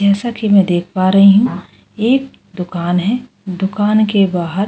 जैसा कि मैं देख पा रही हूं एक दुकान है दुकान के बाहर --